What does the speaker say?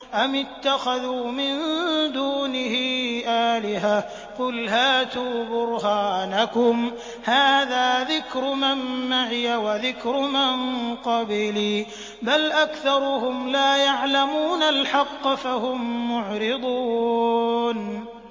أَمِ اتَّخَذُوا مِن دُونِهِ آلِهَةً ۖ قُلْ هَاتُوا بُرْهَانَكُمْ ۖ هَٰذَا ذِكْرُ مَن مَّعِيَ وَذِكْرُ مَن قَبْلِي ۗ بَلْ أَكْثَرُهُمْ لَا يَعْلَمُونَ الْحَقَّ ۖ فَهُم مُّعْرِضُونَ